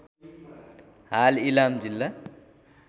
हाल इलाम जिल्ला